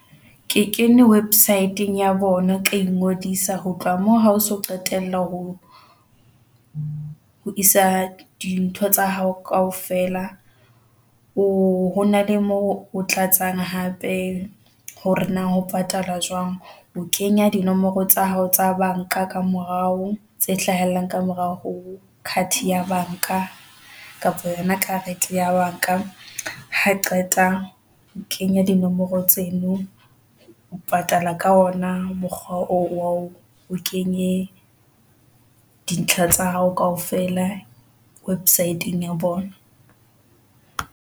Ke kene website-ng ya bona. Ka ingodisa ho tloha moo hao so qetella ho isa dintho tsa hao kaofela ho na le mo o tlatsang hape, hore na ho patala jwang o kenya dinomoro tsa hao tsa banka ka morao tse hlahellang ka morao ho card ya banka kapa yona karete ya banka ha qeta o kenya di nomoro tseno, o patala ka ona mokgwa oo o kenye dintlha tsa hao kaofela. Website-ng ya bona.